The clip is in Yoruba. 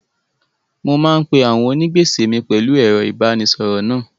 Mo máa ń pe àwọn onígbèsè mi pẹ̀lú ẹ̀rọ ìbánisọ̀rọ̀ náà.